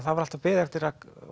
það var alltaf beðið eftir